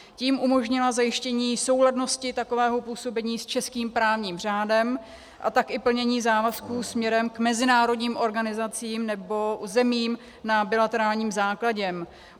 Tím umožnila zajištění souladnosti takového působení s českým právním řádem, a tak i plnění závazků směrem k mezinárodním organizacím nebo zemím na bilaterálním základě.